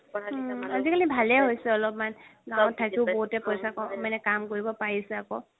আজিকালি ভালেই হৈছে অলপমান গাওঁত থাকিও পইচা মানে কাম কৰিব পাৰিছে আকৌ